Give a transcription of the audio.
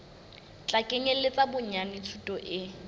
tla kenyeletsa bonyane thuto e